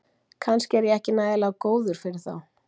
Kannski er ég ekki nægilega góður fyrir þá